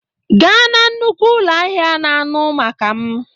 Gaa na nnukwu ụlọ ahịa na anụ maka m